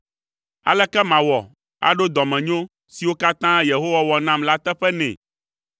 Aleke mawɔ aɖo dɔmenyo siwo katã Yehowa wɔ nam la teƒe nɛ?